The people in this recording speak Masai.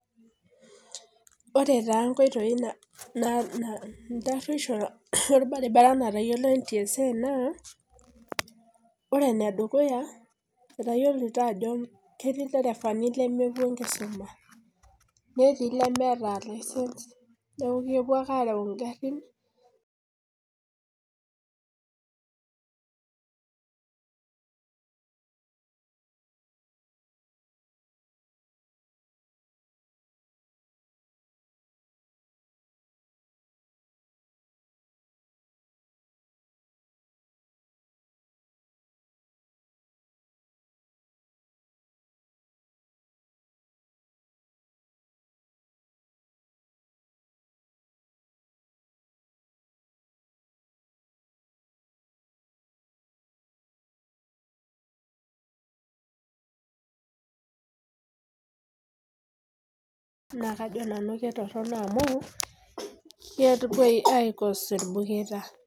Ore taa nkoitoi ntarueisho olbaribara natayiolo NTSA naa ore enedukuya etayiolito ajo ketii ilderevani lemepuo enkisuma netii ilemeta license neeku kepuo ake aareu ingharhin Naakajo nanu ketorhono ame kepuo aicause ilbuketa